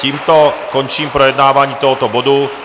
Tímto končím projednávání tohoto bodu.